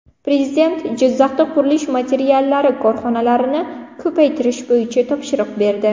Prezident Jizzaxda qurilish materiallari korxonalarini ko‘paytirish bo‘yicha topshiriq berdi.